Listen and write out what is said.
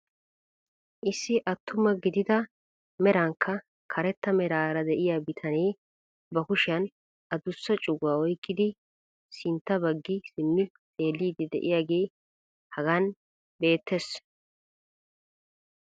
Issi attuma gidida merankka karetta meraara de'iyaa bitanee ba kushiyaan adussa cuguwaa oyqqidi sintta baggi simmi xeelliidi de'iyaagee hagaan beettees.